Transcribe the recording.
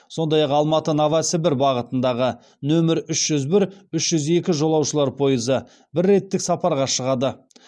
сондай ақ алматы новосібір бағытындағы нөмір үш жүз бір үш жүз екі жолаушылар пойызы бір реттік сапарға шығады